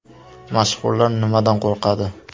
Mashhurlar nimadan qo‘rqadi?